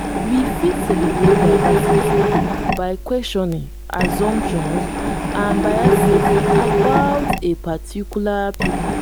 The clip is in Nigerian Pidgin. we fit celebrate diversity by questioning assumptions and biases about a particular pipo